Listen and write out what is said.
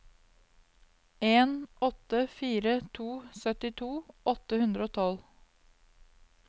en åtte fire to syttito åtte hundre og tolv